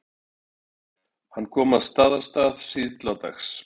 Hann kom að Staðarstað síðla dags.